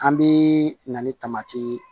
An bɛ na ni tamati ye